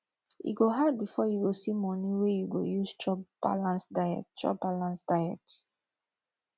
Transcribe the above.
e go hard before you go see moni wey you go use chop balanced diet chop balanced diet